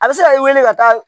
A bɛ se ka i wele ka taa